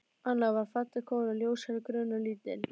Anna var falleg kona, ljóshærð, grönn og lítil.